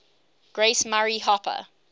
grace murray hopper